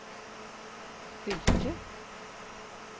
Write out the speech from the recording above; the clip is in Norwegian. Hylkje